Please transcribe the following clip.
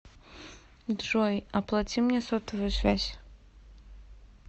джой оплати мне сотовую связь